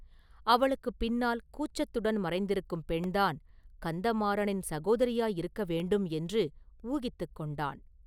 அவளுக்குப் பின்னால் கூச்சத்துடன் மறைந்திருக்கும் பெண்தான் கந்தமாறனின் சகோதரியாயிருக்க வேண்டும் என்று ஊகித்துக் கொண்டான்.